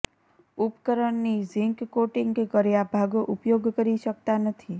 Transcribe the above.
ઉપકરણની ઝીંક કોટિંગ કર્યા ભાગો ઉપયોગ કરી શકતા નથી